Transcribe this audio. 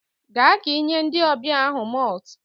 Gaa ka ị nye ndị ọbịa ahụ malt